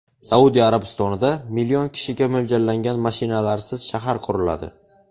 Saudiya Arabistonida million kishiga mo‘ljallangan mashinalarsiz shahar quriladi.